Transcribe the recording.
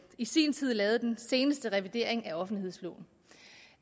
i sin tid lavede den seneste revidering af offentlighedsloven